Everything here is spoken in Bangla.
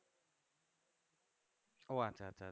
ও আচ্ছা আচ্ছা আচ্ছা